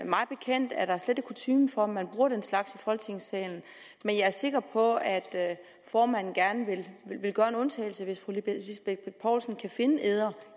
mig bekendt er der slet ikke kutyme for at man bruger den slags i folketingssalen men jeg er sikker på at formanden gerne vil gøre en undtagelse hvis fru lisbeth bech poulsen kan finde eder